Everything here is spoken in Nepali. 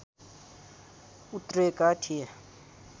उत्रेका थिए